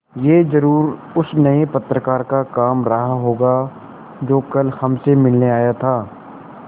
यह ज़रूर उस नये पत्रकार का काम रहा होगा जो कल हमसे मिलने आया था